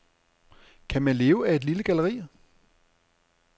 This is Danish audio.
Kan man leve af et lille galleri?